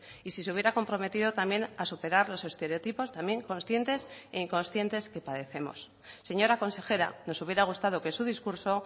y si se hubiera comprometido también a superar los estereotipos también conscientes e inconscientes que padecemos señora consejera nos hubiera gustado que su discurso